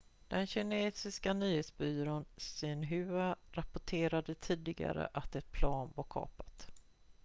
den kinesiska nyhetsbyrån xinhua rapporterade tidigare att ett plan var kapat